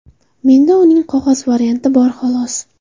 Menda uning qog‘oz varianti bor xolos.